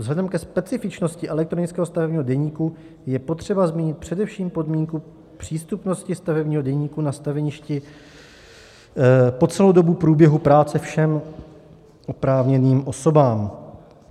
Vzhledem ke specifičnosti elektronického stavebního deníku je potřeba zmínit především podmínku přístupnosti stavebního deníku na staveništi po celou dobu průběhu práce všem oprávněným osobám.